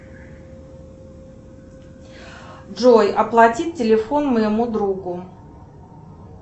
джой оплатить телефон моему другу